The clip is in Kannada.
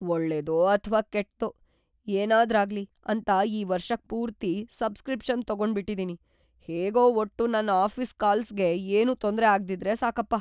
ಒಳ್ಳೇದೋ ಅಥ್ವಾ ಕೆಟ್ದೋ ಏನಾದ್ರಾಗ್ಲಿ ಅಂತ ಈ ವರ್ಷಕ್‌ ಪೂರ್ತಿ ಸಬ್ಸ್‌ಕ್ರಿಪ್ಷನ್‌ ತಗೊಂಡ್ಬಿಟಿದೀನಿ, ಹೇಗೋ ಒಟ್ಟು ನನ್‌ ಆಫೀಸ್‌ ಕಾಲ್ಸ್‌ಗೆ ಏನೂ ತೊಂದ್ರೆ ಆಗ್ದಿದ್ರೆ ಸಾಕಪ್ಪ.